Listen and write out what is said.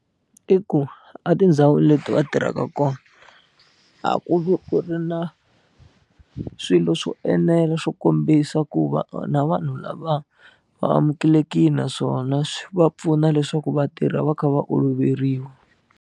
I ku etindhawini leti va tirhaka kona a ku vi ku ri na swilo swo enela swo kombisa ku va na vanhu lava va amukelekile naswona swi va pfuna leswaku va tirha va kha va oloveriwa.